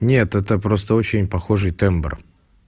нет это просто очень похожий тембр